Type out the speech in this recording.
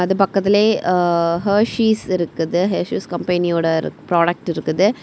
இது பக்கத்திலேயே ஆ ஹாஷிஸ் இருக்குது ஹாஷிஸ் கம்பெனியோட ப்ராடக்ட் இருக்குது.